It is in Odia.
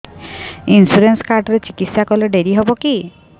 ଇନ୍ସୁରାନ୍ସ କାର୍ଡ ରେ ଚିକିତ୍ସା କଲେ ଡେରି ହବକି